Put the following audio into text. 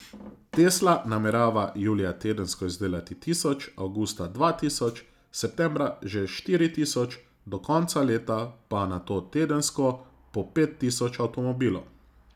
Tesla namerava julija tedensko izdelati tisoč, avgusta dva tisoč, septembra že štiri tisoč, do konca leta pa nato tedensko po pet tisoč avtomobilov.